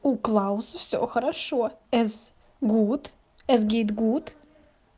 у клауса все хорошо эс гут эс гейт гут